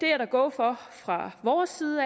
er der go for fra vores side